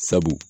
Sabu